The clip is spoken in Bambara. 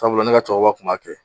Sabula ne ka cɛkɔrɔba tun b'a kɛ.